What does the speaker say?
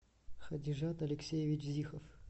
хадижат алексеевич зихов